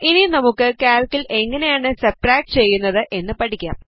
ഇനി നമുക്ക് കാൽക്കിൽ എങ്ങനെയാണ് സബ്സ്ട്രാക്ട് ചെയ്യുന്നത് എന്ന് പഠിക്കാം